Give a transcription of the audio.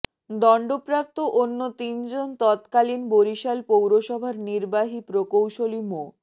দণ্ডপ্রাপ্ত অন্য তিনজন তৎকালীন বরিশাল পৌরসভার নির্বাহী প্রকৌশলী মো